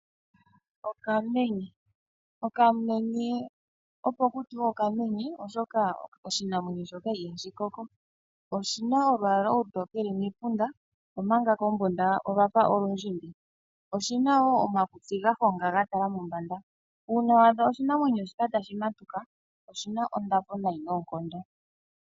Okamenya Okamenye opo ku tiwe okamenye, omolwashoka oshinamwenyo shoka ihashi koko. Oshi na olwaala olutokele membunda, omanga kombunda olwa fa olundjimbi. Oshi na wo omakutsi ga honga ga tala mombanda. Uuna wa adha oshinamwenyo shika tashi matuka oshi na onda po noonkondo.